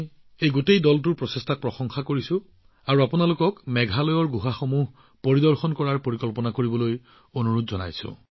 এই সমগ্ৰ দলটোৰ প্ৰচেষ্টাক শলাগ লৈছো লগতে আপোনালোকক মেঘালয়ৰ গুহা পৰিদৰ্শন কৰাৰ পৰিকল্পনা কৰিবলৈ আহ্বান জনাইছো